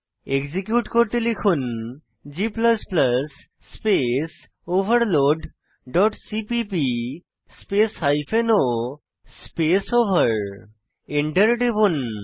execute করতে লিখুন g space overload dot CPP space o space over Enter টিপুন